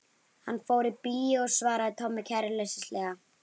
Hann fór í bíó svaraði Tommi kæruleysislega.